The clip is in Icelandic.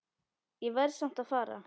Ég verð samt að fara